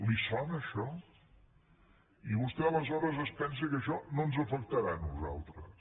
li sona això i vostè aleshores es pensa que això no ens afectarà a nosaltres